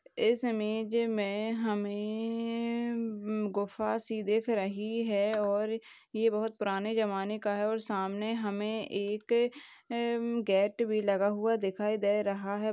इस इमेज मे हमे म-म गुफा सी दिख रही है और ये बहुत पुराने जमाने का है और सामने हमे एक अ-ह-म- गेट भी लगा हुआ दिखाई दे रहा है।